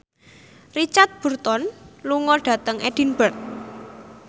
Richard Burton lunga dhateng Edinburgh